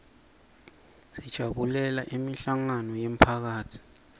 sijabulela imihlangano yemphakatsi